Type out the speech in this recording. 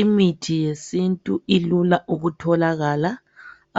Imithi yesintu ilula ukutholakala